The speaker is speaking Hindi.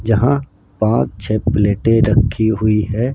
यहां पांच छह प्लेटें रखी हुई है।